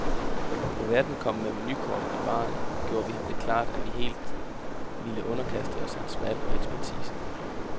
Da værten kom med menukortet i baren, gjorde vi ham det klart, at vi helt ville underkaste os hans valg og ekspertise.